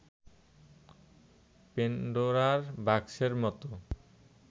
পেন্ডোরার বাক্সের মতো